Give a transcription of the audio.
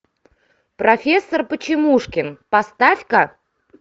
профессор почемушкин поставь ка